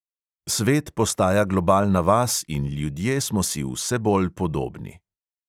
Svet postaja globalna vas in ljudje smo si vse bolj podobni.